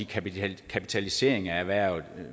kapitalisering af erhvervet